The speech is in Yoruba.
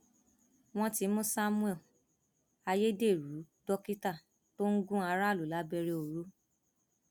wọn ti mú samuel ayédèrú dókítà tó ń gun aráàlú lábẹrẹ ọrọ